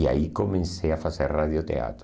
E aí comecei a fazer radioteatro.